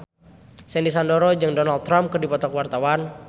Sandy Sandoro jeung Donald Trump keur dipoto ku wartawan